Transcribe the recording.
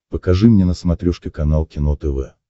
покажи мне на смотрешке канал кино тв